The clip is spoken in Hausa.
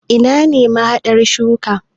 Ina ne mahadan shaguna?